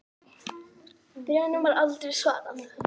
Bréfunum var aldrei svarað.